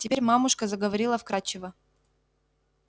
теперь мамушка заговорила вкрадчиво